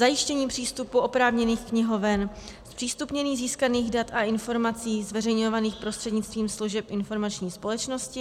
Zajištění přístupu oprávněných knihoven, zpřístupnění získaných dat a informací zveřejňovaných prostřednictvím služeb informační společnosti.